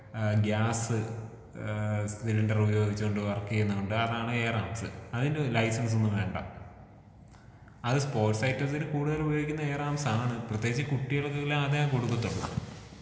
ഏഹ് gas ഏഹ് cylinder ഉപയോഗിച്ച് കൊണ്ട് വർക്ക് ചെയ്യുന്നതുണ്ട് അതാണ് എയർ ആർമ്സ്.അതിന് ലൈസൻസ് ഒന്നും വേണ്ട. അത് സ്പോർട്സ് ഐറ്റംസ്ന് കൂടുതൽ ഉപയോഗിക്കുന്നത് എയർ ആർമ്സാണ്.പ്രതേകിച്ച് കുട്ടികൾക്ക് എല്ലാം അതേ കൊടുക്കത്തൊള്ളൂ.